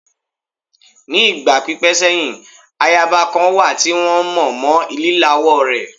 Ní ìgbà pípẹ́ sẹ́yìn, ayaba kan wà tí wọ́n mọ̀ mọ lílawọ́ rẹ̀.